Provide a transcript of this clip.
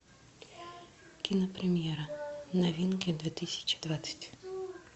кинопремьера новинки две тысячи двадцать